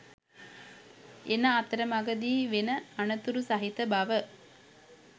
එන අතරමගදී වෙන අනතුරු සහිත බව